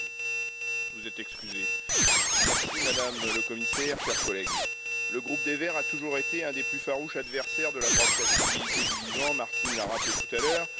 Monsieur le Président, Madame la Commissaire, chers collègues, le groupe des Verts a toujours été un des plus farouches adversaires de la brevetabilité du vivant, Martine l'a rappelé tout à l'heure.